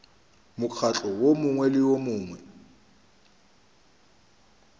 mokgatlo wo mongwe le wo